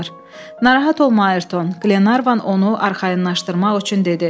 Narahat olma, Ayerton, Qlenarvan onu arxayınlaşdırmaq üçün dedi.